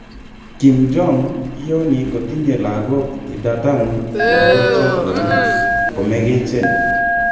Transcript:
Kim Jong kiyooni kotinye lagok idadan lakochoton komegechen.